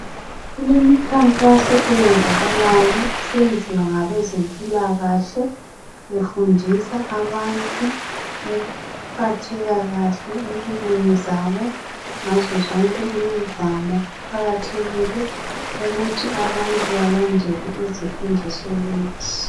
Kulemikhankaso eyenzakalayo isenziwa ngabezempilakahle befundisa abantu ukuphatheka kahle empilweni zabo ngazozonke imizamo, kuqakathekile ukuthi abantu balandele izifundiso lezi.